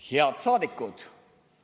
Head saadikud!